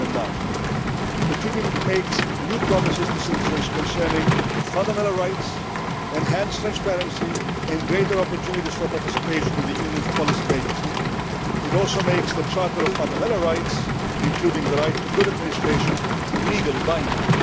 of 2009. The treaty makes new promises to citizens concerning fundamental rights, enhanced transparency and greater opportunities for participation in the Union's policy making. It also makes the Charter of Fundamental Rights, including the right to good administration, legally binding.